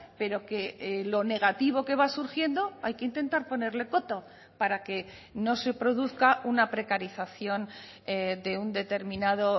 pero que lo negativo que va surgiendo hay que intentar ponerle coto para que no se produzca una precarización de un determinado